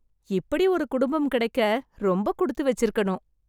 இப்படி ஒரு குடும்பம் கிடைக்க ரொம்ப குடுத்து வெச்சி இருக்கணும்